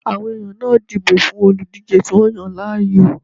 Àwọn èèyàn náà dìbò fún olùdíjé tí wọ́n yàn láàyò